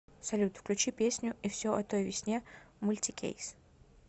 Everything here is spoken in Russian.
салют включи песню и все о той весне мультикейс